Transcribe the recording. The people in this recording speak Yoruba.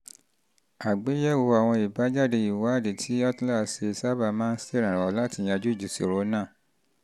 àgbéyẹ̀wò àwọn àbájáde ìwádìí tí holter ṣe sábà holter ṣe sábà máa ń ṣèrànwọ́ láti yanjú ìṣòro náà